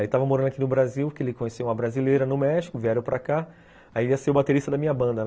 Aí tava morando aqui no Brasil, que ele conheceu uma brasileira no México, vieram para cá, aí ia ser o baterista da minha banda, né?